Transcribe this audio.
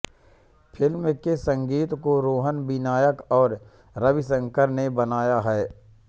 film के संगीत को रोहन विनायक और रविशंकर ने बनाया है